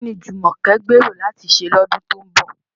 Kí ni Jumoke gbèrò láti ṣe lọ́dún tó ń bọ̀?